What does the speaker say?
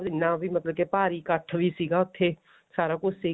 ਜਿੰਨਾ ਵੀ ਮਤਲਬ ਕਿ ਭਾਰੀ ਕੱਠ ਵੀ ਸੀਗਾ ਉੱਥੇ ਸਾਰਾ ਕੁੱਝ ਸੀਗਾ